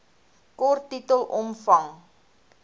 kort titel omvang